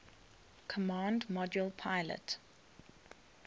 command module pilot